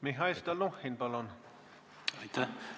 Mihhail Stalnuhhin, palun!